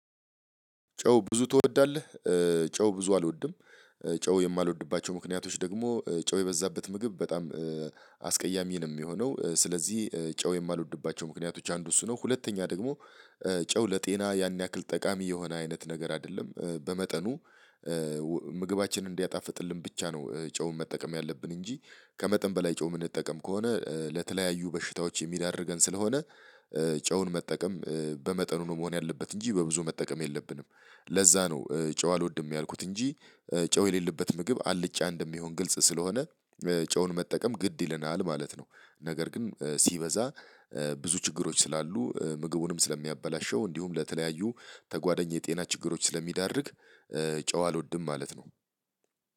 ጨው ብዙ ትወዳለህ? ጨው ብዙ አልወድም። ጨው የማልወድባቸው ምክንያቶች ደግሞ ጨው የበዛበት ምግብ በጣም አስቀያሚ ነው የሚሆነው። ስለዚህ ጨው የማልወድባቸው ምክንያቶች አንዱ እሱ ነው። ሁለተኛ ደግሞ ጨው ለጤና ያን ያክል ጠቃሚ የሆነ አይነት ነገር አይደለም በመጠኑ። ምግባችንን እንዲያጣፍጥልን ብቻ ነው ጨውን መጠቀም ያለብን እንጂ ከመጠን በላይ ጨው የምንጠቀም ከሆነ ለተለያዩ በሽታዎች የሚዳርገን ስለሆነ። ጨውን መጠቀም በመጠኑ ነው መሆን ያለበት እንጂ በብዙ መጠቀም የለብንም። ለዛ ነው ጨው አልወድም ያልኩት። እንጂ ጨው የሌለበት ምግብ አልጫ እንደሚሆን ግልጽ ስለሆነ። ጨውን መጠቀም ግድ ይለናል ማለት ነው። ነገር ግን ሲበዛ ብዙ ችግሮች ስላሉ ምግቡንም ስለሚያበላሸው እንዲሁም ለተለያዩ ተጓደኝ የጤና ችግሮች ስለሚዳርግ። ጨው አልወድም ማለት ነው።